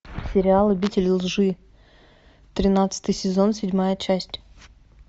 сериал обитель лжи тринадцатый сезон седьмая часть